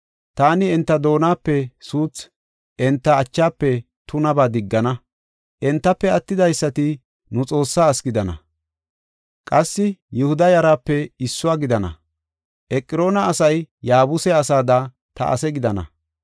Taani enta doonape suuthi, enta achaafe tunaba diggana. Entafe attidaysati nu Xoossaa asi gidana; qassi Yihuda yaraape issuwa gidana. Eqroona asay Yaabuse asaada ta ase gidana.